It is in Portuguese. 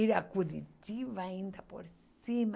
Ir a Curitiba ainda por cima.